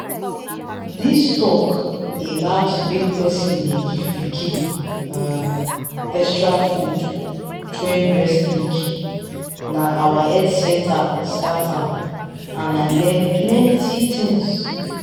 this talk about make person dey give pikin um extra food join breast milk na our health centre start am and i learn plenty things.